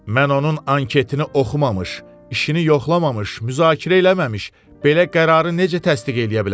Mən onun anketini oxumamış, işini yoxlamamış, müzakirə eləməmiş, belə qərarı necə təsdiq eləyə bilərəm?